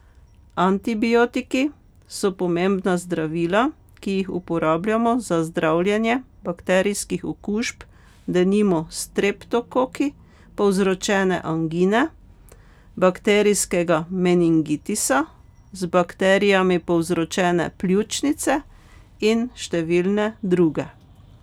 Antibiotiki so pomembna zdravila, ki jih uporabljamo za zdravljenje bakterijskih okužb, denimo s streptokoki povzročene angine, bakterijskega meningitisa, z bakterijami povzročene pljučnice in številne druge.